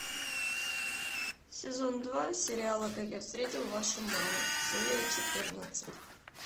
сезон два сериала как я встретил вашу маму серия четырнадцать